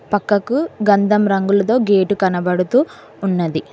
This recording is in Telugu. పక్కకు గంధం రంగులతో గేటు కనబడుతూ ఉన్నది.